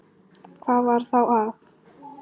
Hvað var þá að?